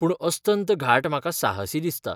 पूण अस्तंत घाट म्हाका साहसी दिसता.